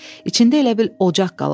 İçində elə bil ocaq qalanmışdı.